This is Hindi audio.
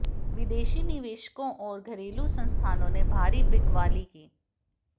विदेशी निवेशकों और घरेलू संस्थानों ने भारी बिकवाली की